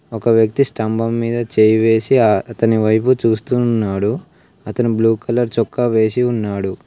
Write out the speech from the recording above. ఒక వ్యక్తి స్తంభం మీద చేయి వేసి అతని వైపు చూస్తున్నాడు అతని బ్లూ కలర్ చొక్కా వేసి ఉన్నాడు.